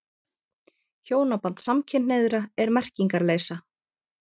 Hjónaband samkynhneigðra er merkingarleysa.